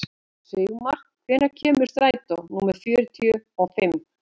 Sigmar, hvenær kemur strætó númer fjörutíu og fimm?